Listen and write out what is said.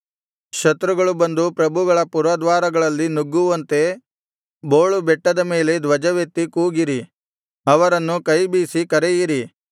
ಶತ್ರುಗಳು ಬಂದು ಪ್ರಭುಗಳ ಪುರದ್ವಾರಗಳಲ್ಲಿ ನುಗ್ಗುವಂತೆ ಬೋಳು ಬೆಟ್ಟದ ಮೇಲೆ ಧ್ವಜವೆತ್ತಿ ಕೂಗಿರಿ ಅವರನ್ನು ಕೈಬೀಸಿ ಕರೆಯಿರಿ